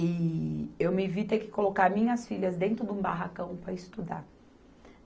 E eu me vi ter que colocar minhas filhas dentro de um barracão para estudar.